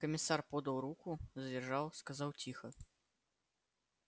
комиссар подал руку задержал сказал тихо